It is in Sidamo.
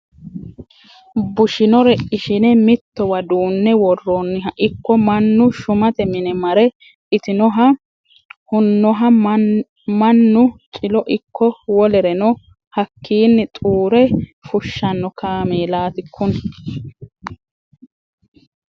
Bushinore ishine mittowa duune worooniha ikko mannu shumate mine mare itinoha hunoha mannu cilo ikko wolereno hakkini xuure fushano kaameellati kuni.